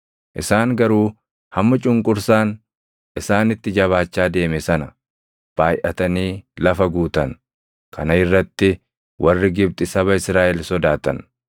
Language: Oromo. Isaan garuu hamma cunqursaan isaanitti jabaachaa deeme sana baayʼatanii lafa guutan; kana irratti warri Gibxi saba Israaʼel sodaatan.